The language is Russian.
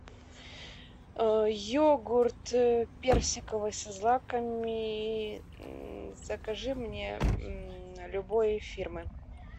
йогурт персиковый со злаками закажи мне любой фирмы